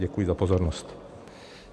Děkuji za pozornost.